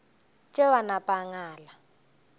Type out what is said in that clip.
tšeo a napa a ngala